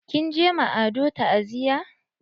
Kin je ma Ado ta'aziya?